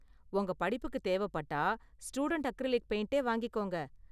உங்க படிப்புக்கு தேவப்பட்டா ஸ்டூடண்ட் அக்ரிலிக் பெயிண்ட வாங்கிக்கோங்க.